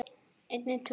Svo grét ég.